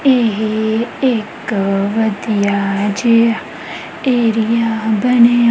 ਇਹ ਇੱਕ ਵਧੀਆ ਜਿਹਾ ਏਰੀਆ ਬਣਿਆ--